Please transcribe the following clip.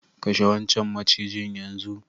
Kashe wancan macijin yanzu!